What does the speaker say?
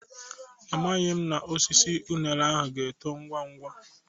Amaghị m na osisi unere ahụ ga-eto ngwa ngwa.